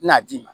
N'a d'i ma